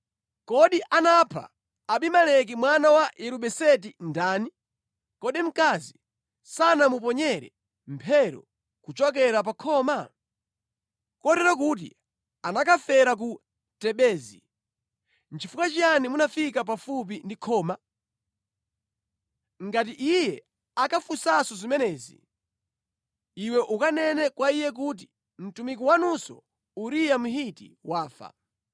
Kodi anapha Abimeleki mwana wa Yerubeseti ndani? Kodi mkazi sanamuponyere mphero kuchokera pa khoma? Kotero kuti anakafera ku Tebezi. Nʼchifukwa chiyani munafika pafupi ndi khoma?’ Ngati iye akafunsa zimenezi, iwe ukanene kwa iye kuti, ‘Mtumiki wanunso Uriya Mhiti wafa.’ ”